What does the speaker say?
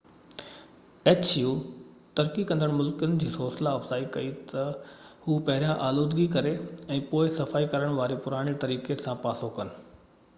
H يو ترقي ڪندڙ ملڪن جي حوصلا افزائي ڪئي ته هو پهريان آلودگيءَ ڪري ۽ پوءِ سفائي ڪرڻ واري پراڻي طريقي کان پاسو ڪن